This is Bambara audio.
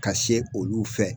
Ka se olu fɛ